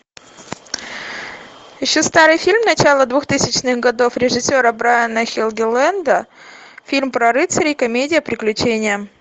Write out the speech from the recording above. ищу старый фильм начала двухтысячных годов режиссера брайана хелгеленда фильм про рыцарей комедия приключения